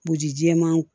Bugu jɛman